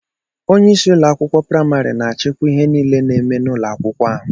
Onyeisi ụlọ akwụkwọ praịmarị na-achịkwa ihe niile na-eme n'ụlọ akwụkwọ ahụ.